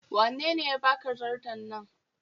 Wanene ya baka zarto nan?